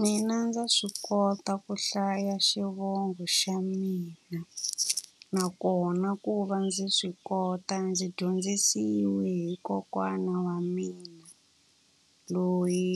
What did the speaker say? Mina ndza swi kota ku hlaya xivongo xa mina. Nakona ku va ndzi swi kota ndzi dyondzisiwe hi kokwana wa mina, loyi